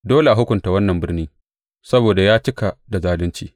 Dole a hukunta wannan birni; saboda ya cika da zalunci.